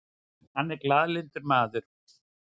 Hann er glaðlyndur maður.